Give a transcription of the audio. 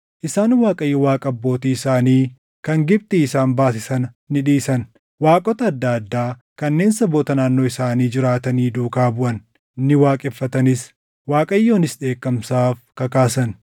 Isaan Waaqayyo Waaqa abbootii isaanii kan Gibxii isaan baase sana ni dhiisan. Waaqota adda addaa kanneen saboota naannoo isaanii jiraatanii duukaa buʼan; ni waaqeffatanis. Waaqayyonis dheekkamsaaf kakaasan;